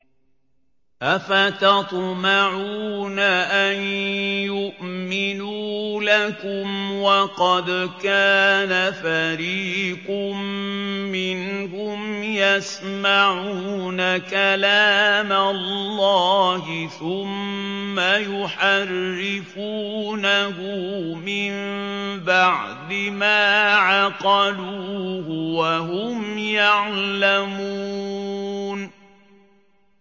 ۞ أَفَتَطْمَعُونَ أَن يُؤْمِنُوا لَكُمْ وَقَدْ كَانَ فَرِيقٌ مِّنْهُمْ يَسْمَعُونَ كَلَامَ اللَّهِ ثُمَّ يُحَرِّفُونَهُ مِن بَعْدِ مَا عَقَلُوهُ وَهُمْ يَعْلَمُونَ